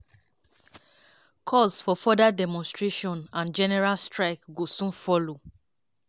calls for further demonstration and general strike go soon follow.